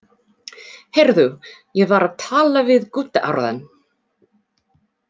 Heyrðu, ég var að tala við Gutta áðan.